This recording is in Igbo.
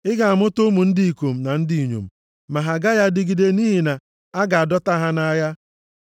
Ị ga-amụta ụmụ ndị ikom na ndị inyom ma ha agaghị adịgide nʼihi na a ga-adọta ha nʼagha.